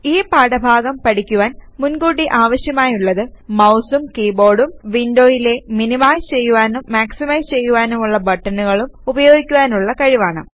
ഈ പാഠഭാഗം പഠിക്കുവാൻ മുൻ കൂട്ടി ആവശ്യമായുള്ളത് മൌസും കീബോർഡൂം വിൻഡോയിലെ മിനിമൈസ് ചെയ്യുവാനും മാക്സിമൈസ് ചെയ്യുവാനുമുള്ള ബട്ടണുകളും ഉപയോഗിക്കുവാനുള്ള കഴിവാണ്